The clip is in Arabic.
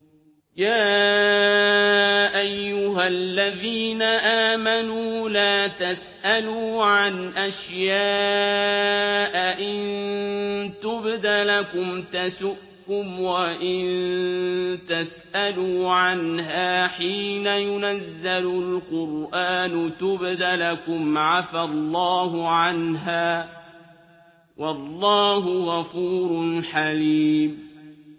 يَا أَيُّهَا الَّذِينَ آمَنُوا لَا تَسْأَلُوا عَنْ أَشْيَاءَ إِن تُبْدَ لَكُمْ تَسُؤْكُمْ وَإِن تَسْأَلُوا عَنْهَا حِينَ يُنَزَّلُ الْقُرْآنُ تُبْدَ لَكُمْ عَفَا اللَّهُ عَنْهَا ۗ وَاللَّهُ غَفُورٌ حَلِيمٌ